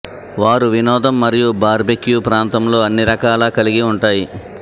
వారు వినోదం మరియు బార్బెక్యూ ప్రాంతంలో అన్ని రకాల కలిగి ఉంటాయి